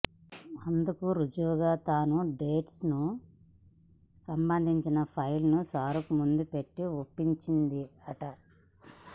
అందుకు రుజువుగా తన డేట్స్కు సంబంధించిన ఫైల్ను షారుక్ ముందు పెట్టి ఒప్పించిందట